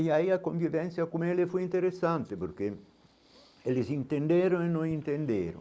E aí a convivência com ela foi interessante, porque eles entenderam e não entenderam.